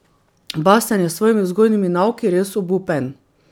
Bastjan je s svojimi vzgojnimi nauki res obupen.